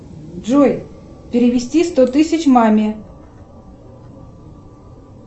джой перевести сто тысяч маме